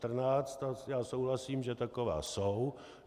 A já souhlasím, že taková jsou.